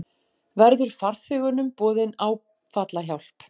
Verður farþegunum boðin áfallahjálp